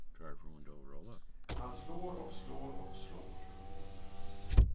Han slår och slår och slår.